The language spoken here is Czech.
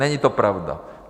Není to pravda.